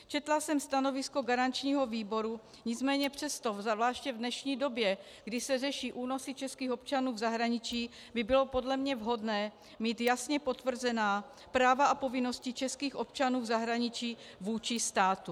Četla jsem stanovisko garančního výboru, nicméně přesto, zvláště v dnešní době, kdy se řeší únosy českých občanů v zahraničí, by bylo podle mě vhodné mít jasně potvrzená práva a povinnosti českých občanů v zahraničí vůči státu.